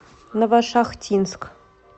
новошахтинск